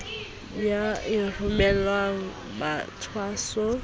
ya e romelwang mathwasong a